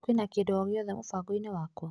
Kwĩna kĩndũ ogĩothe mũbango-inĩ wakwa?